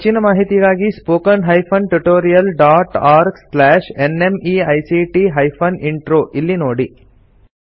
ಹೆಚ್ಚಿನ ಮಾಹಿತಿಗಾಗಿ spoken hyphen tutorial dot org slash NMEICT hyphen intro ಇಲ್ಲಿ ನೋಡಿ